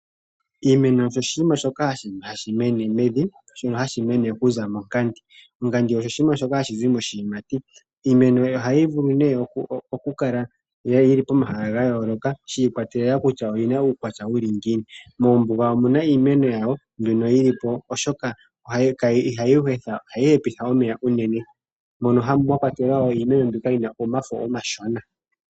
Iimeno oyo oshinima shoka hashi mene mevi, shono hashi mene monkandi. Onkandi osho shimwe shoka hashi zi moshiyimati. Iimeno ohayi vulu nee okukala yi li pomahala ga yooloka shi ikwatelela kutya oyi na uukwatya wuli ngiini. Mombuga omuna iimeno yawo mbyono yi li po oshoka ihayi hepitha omeya unene, mono mwa kwatelwa wo iimeno mbyoka yi na omafo omashona.